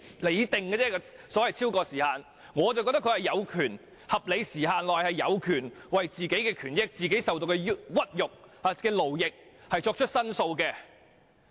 我認為受害人有權在合理時限內為自己的權益、所受的屈辱和勞役作出申訴。